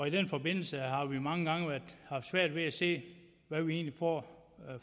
i den forbindelse har vi mange gange haft svært ved at se hvad vi egentlig får